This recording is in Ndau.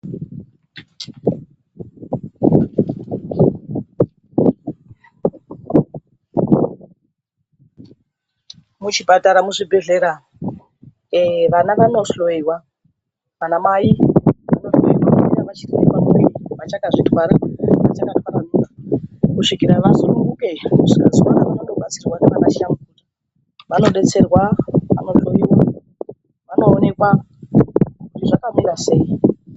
Muchipatara, muzvibhehlera vana vanohloyiwa vanamai vachazvitware kusvikira vasununguke. Vanodetserwa vanohloyiwa, vanoonekwa kuti zvakamira sei.